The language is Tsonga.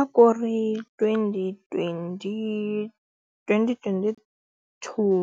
A ku ri twenty-twenty twenty-twenty two,